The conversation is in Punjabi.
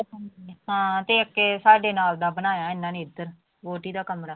ਹਾਂ ਤੇ ਇੱਕ ਸਾਡੇ ਨਾਲ ਦਾ ਬਣਾਇਆ ਇਹਨਾਂ ਨੇ ਇੱਧਰ ਵਹੁਟੀ ਦਾ ਕਮਰਾ।